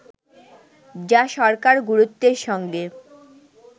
যা সরকার গুরুত্বের সঙ্গে